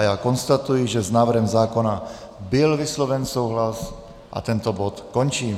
A já konstatuji, že s návrhem zákona byl vysloven souhlas, a tento bod končím.